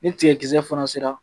Ni tigɛ kisɛ fana sera